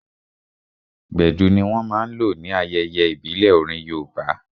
Gbedu ní wọ́n máa n lò ní ayẹyẹ ìbílẹ̀ orin yoòbá